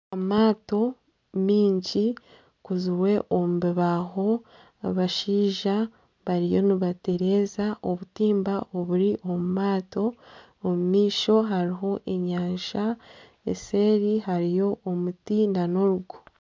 Amaato maingi gakozirwe omu bibaaho, abashaija bariyo nibatereeza obutimba oburi omu maato omu maisho hariho enyanja eseeri hariyo omuti nana orugo.